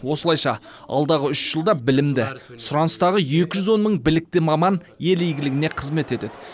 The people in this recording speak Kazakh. осылайша алдағы үш жылда білімді сұраныстағы екі жүз он мың білікті маман ел игілігіне қызмет етеді